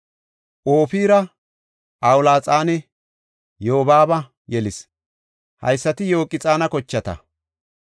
Ofira, Awulaxanne Yobaaba yelis. Haysati Yoqxaana kochata.